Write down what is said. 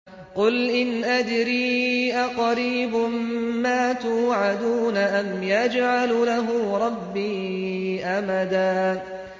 قُلْ إِنْ أَدْرِي أَقَرِيبٌ مَّا تُوعَدُونَ أَمْ يَجْعَلُ لَهُ رَبِّي أَمَدًا